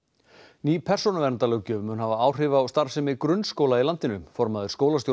ný persónuverndarlöggjöf mun hafa áhrif á starfsemi grunnskóla í landinu formaður